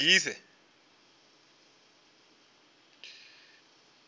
ḽigegise